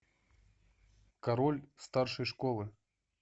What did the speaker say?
король старшей школы